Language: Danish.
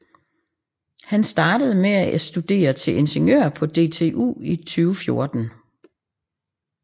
Han startede med at studere til inginiør på DTU i 2014